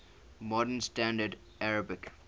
modern standard arabic